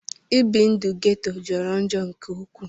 Ibi ndu ghetto jọrọ njọ nke ukwu.